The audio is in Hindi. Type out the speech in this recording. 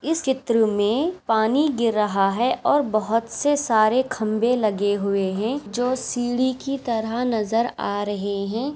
इस चित्र मे पानी गिर रहा है और बहुत से सारे खम्भे लगे हुए है जो सीडी की तरह नज़र आ रहे है।